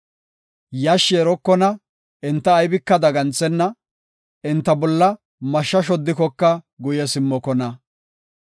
Yashshi erokona; enta aybika daganthenna; enta bolla mashsha shoddikoka guye simmokona.